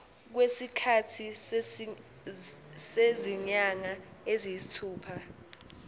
kwesikhathi sezinyanga eziyisithupha